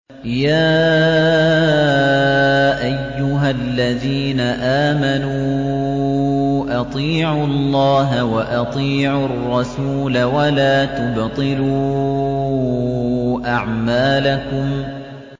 ۞ يَا أَيُّهَا الَّذِينَ آمَنُوا أَطِيعُوا اللَّهَ وَأَطِيعُوا الرَّسُولَ وَلَا تُبْطِلُوا أَعْمَالَكُمْ